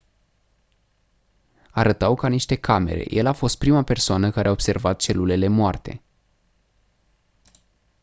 arătau ca niște camere el a fost prima persoană care a observat celulele moarte